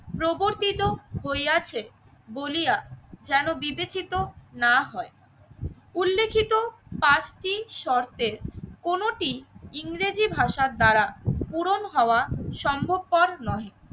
প্রবর্তিত হইয়াছে বলিয়া যেন বিবেচিত না হয়। উল্লেখিত পাঁচটি শর্তে কোনটি ইংরেজি ভাষার দ্বারা পূরণ হওয়া সম্ভবপর নহে।